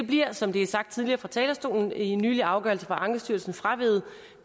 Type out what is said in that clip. bliver som det er sagt tidligere fra talerstolen i en nylig afgørelse fra ankestyrelsen fraveget